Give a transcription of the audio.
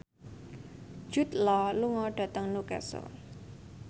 Jude Law lunga dhateng Newcastle